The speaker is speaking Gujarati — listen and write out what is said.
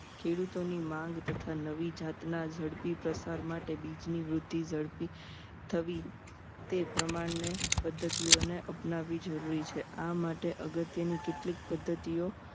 ખેડૂતોની માંગ તથા નવી જાતના ઝડપી પ્રસાર માટે બીજની વૃદ્ધિ ઝડપી થવી તે પ્રમાણે પદ્ધતિઓને અપનાવી જરૂરી છે આ માટે અગત્યની કેટલીક પદ્ધતિઓ